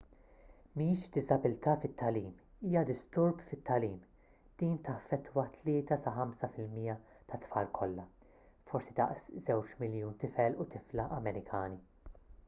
mhix diżabilità fit-tagħlim hija disturb fit-tagħlim din taffettwa 3 sa 5 fil-mija tat-tfal kollha forsi daqs 2 miljun tifel u tifla amerikani